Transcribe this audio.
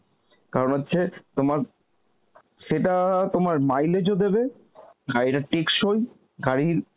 কারণ হচ্ছে তোমার সেটা তোমার mileage ও দেবে আর এটা টেকসই গাড়ির